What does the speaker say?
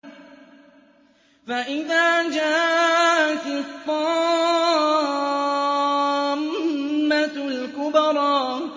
فَإِذَا جَاءَتِ الطَّامَّةُ الْكُبْرَىٰ